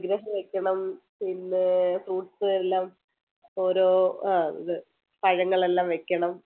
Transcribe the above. വിഗ്രഹം വെക്കണം പിന്നെ fruits എല്ലാം ഓരോ അഹ് ഇത് പഴങ്ങളെല്ലാം വെക്കണം